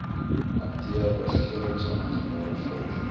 hanteer regeringsamptenare volg